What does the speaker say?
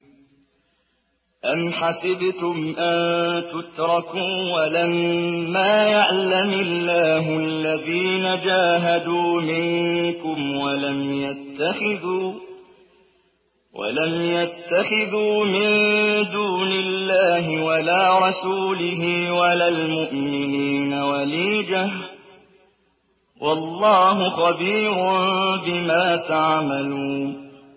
أَمْ حَسِبْتُمْ أَن تُتْرَكُوا وَلَمَّا يَعْلَمِ اللَّهُ الَّذِينَ جَاهَدُوا مِنكُمْ وَلَمْ يَتَّخِذُوا مِن دُونِ اللَّهِ وَلَا رَسُولِهِ وَلَا الْمُؤْمِنِينَ وَلِيجَةً ۚ وَاللَّهُ خَبِيرٌ بِمَا تَعْمَلُونَ